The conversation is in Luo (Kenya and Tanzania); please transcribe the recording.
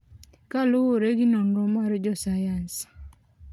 kaluore gi nonro mar jo sayans.